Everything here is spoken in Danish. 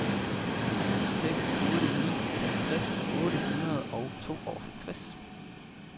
syv seks otte ni halvtreds otte hundrede og tooghalvtreds